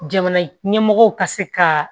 Jamana ɲɛmɔgɔw ka se ka